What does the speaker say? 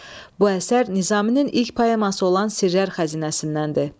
Bu əsər Nizaminin ilk poeması olan Sirlər Xəzinəsindəndir.